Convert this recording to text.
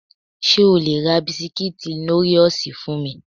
Ṣé o le ra bisikítì Nóríòsì fún mi?